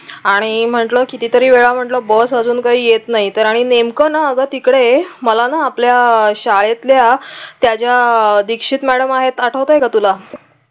आणि म्हटलं किती तरी वेळा म्हटलं की बस अजून काही येत नाही तर आम्ही नेमकं ना ग तिकडे मला न आपल्या शाळेतल्या त्या ज्या दीक्षित मॅडम आहेत आठवतंय का तुला